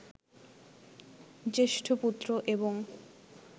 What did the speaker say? জ্যেষ্ঠ পুত্র এবং